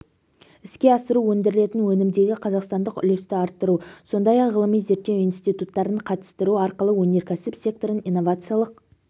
іске асыру өндірілетін өнімдегі қазақстандық үлесті арттыру сондай-ақ ғылыми-зерттеу институттарын қатыстыру арқылы өнеркәсіп секторын инновациялық